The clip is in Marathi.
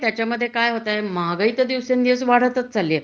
त्याच्या मध्ये काय होतय महागाई दिवसे दिवस वाढतच चालली